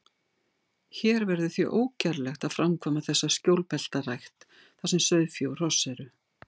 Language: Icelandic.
Hér verður því ógerlegt að framkvæma þessa skjólbeltarækt, þar sem sauðfé og hross eru.